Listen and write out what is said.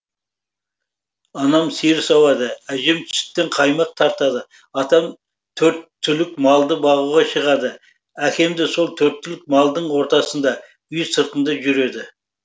анам сиыр сауады әжем сүттен қаймақ тартады атам төрт түлік малды бағуға шығады әкемде сол төрт түлік малдың ортасында үй сыртында жүреді